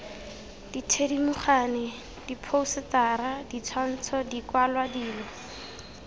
dithedimogane diphousetara ditshwantsho dikwalwa dilo